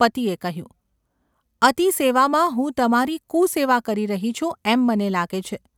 ’ પતિએ કહ્યું. ​ ‘અતિ સેવામાં હું તમારી કુ-સેવા કરી રહી છું એમ મને લાગે છે.